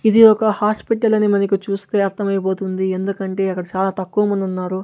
ఇది ఒక హాస్పిటల్ అని మనకు చూస్తే అర్థం ఐపోతుంది ఎందుకంటే అక్కడ చాలా తక్కువ మంది ఉన్నారు.